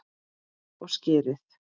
Og skyrið!